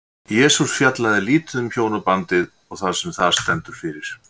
Jesús fjallaði lítið um hjónabandið og það sem það stendur fyrir.